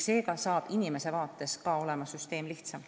Seega saab kogu süsteem olema kõigi jaoks lihtsam.